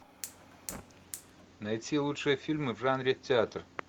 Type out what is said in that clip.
найти лучшие фильмы в жанре театр